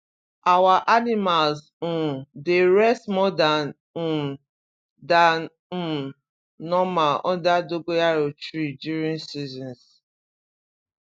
our animals um dey rest more dan um dan um normal under dogoyaro tree during seasons